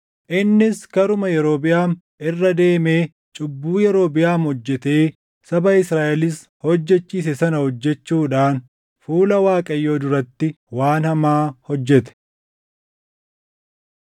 Innis karuma Yerobiʼaam irra deemee cubbuu Yerobiʼaam hojjetee saba Israaʼelis hojjechiise sana hojjechuudhaan fuula Waaqayyoo duratti waan hamaa hojjete.